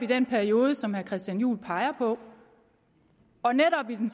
den periode som herre christian juhl peger på og netop i den